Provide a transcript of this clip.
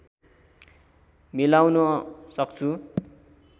मिलाउन सक्छु